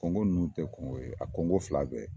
Kɔngo ninnu tɛ kɔngo ye a kɔngo fila bɛɛ